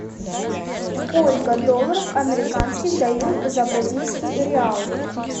сколько долларов американских дают за бразильский реал